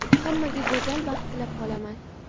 Hammaga go‘zal baxt tilab qolaman.